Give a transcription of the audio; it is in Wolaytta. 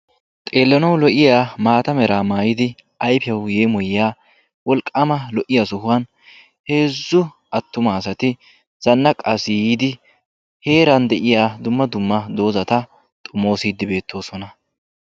Xeelanawu lo'iyaa maataa meraa maayidi ayfiyawu yeemoyiyaa wolqqama lo'iya sohuwan heezzu attuma asati zannaqqasi yidi heeran deiya dumma dumma dozata xoomosidi beetosona.